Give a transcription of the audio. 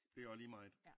Det være lige meget